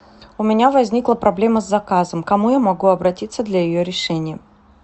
у меня возникла проблема с заказом к кому я могу обратиться для ее решения